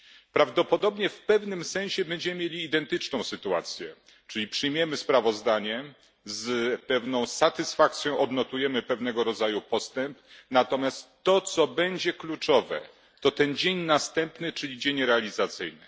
Prawdopodobnie w pewnym sensie będziemy mieli identyczną sytuację, czyli przyjmiemy sprawozdanie, z pewną satysfakcją odnotujemy pewnego rodzaju postęp, natomiast to, co będzie kluczowe, to ten dzień następny, czyli dzień realizacyjny.